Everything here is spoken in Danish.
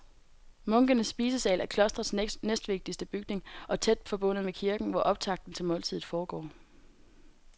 Munkenes spisesal er klostrets næstvigtigste bygning og tæt forbundet med kirken, hvor optakten til måltidet foregår.